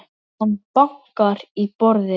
Hann bankar í borðið.